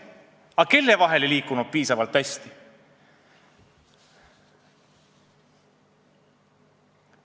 Aga kelle vahel see ei liikunud piisavalt hästi?